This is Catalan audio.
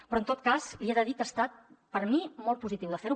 però en tot cas li he de dir que ha estat per a mi molt positiu de fer ho